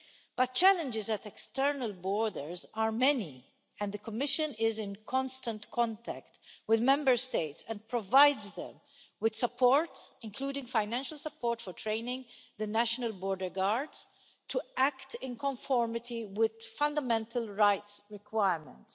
But challenges at external borders are many, and the Commission is in constant contact with Member States and provides them with support, including financial support for training the national border guards to act in conformity with fundamental rights requirements.